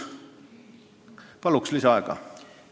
Palun lisaaega!